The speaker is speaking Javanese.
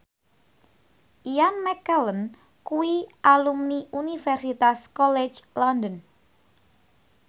Ian McKellen kuwi alumni Universitas College London